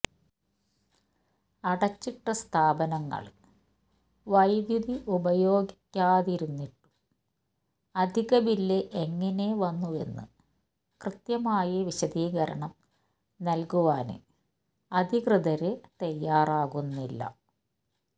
അടച്ചിട്ട സ്ഥാപനങ്ങള് വൈദ്യുതി ഉപയോഗിക്കാതിരുന്നിട്ടും അധിക ബില്ല് എങ്ങനെ വന്നുവെന്ന് കൃത്യമായി വിശദീകരണം നല്കുവാന് അധികൃതര് തയാറാകുന്നില്ല